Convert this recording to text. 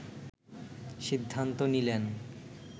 সিদ্ধান্ত নিলেন